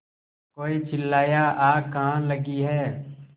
कोई चिल्लाया आग कहाँ लगी है